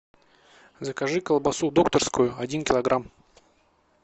закажи колбасу докторскую один килограмм